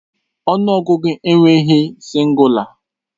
Ọnụ ọgụgụ enweghị sịngụla